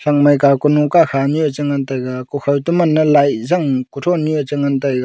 kaw kunu kakha nyu e chengan taiga kukhaw to manne light jang kuthon nyue chengan taiga.